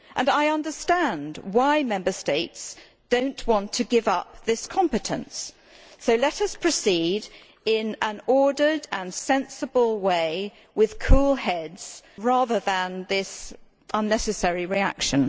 I understand why Member States do not want to give up this competence, so let us proceed in an ordered and sensible way with cool heads, rather than this unnecessary reaction.